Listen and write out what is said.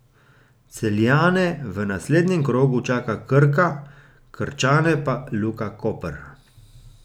Celjane v naslednjem krogu čaka Krka, Krčane pa Luka Koper.